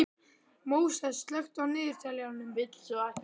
Móses, slökktu á niðurteljaranum.